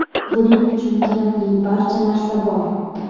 Buning uchun kerakli barcha narsa bor.